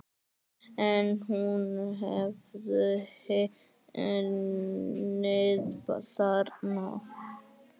En hún hefði unnið þarna.